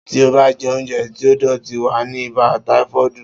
Tí ò bá je oúnjẹ tí ó dòtí, wàá ní ibà táífọ́ọ̀dù